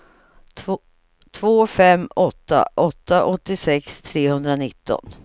två fem åtta åtta åttiosex trehundranitton